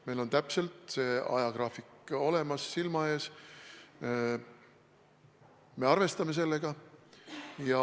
Meil on täpne ajagraafik olemas, silma ees, ja me arvestame sellega.